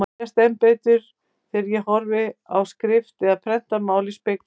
Þetta sést enn betur þegar ég horfi á skrift eða prentað mál í spegli.